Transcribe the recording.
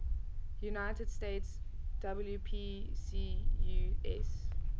united states wpcus